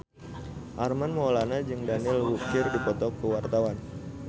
Armand Maulana jeung Daniel Wu keur dipoto ku wartawan